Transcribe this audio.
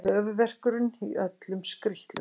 Höfuðverkurinn í öllum skrítlum.